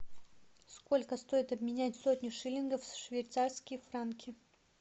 сколько стоит обменять сотню шиллингов в швейцарские франки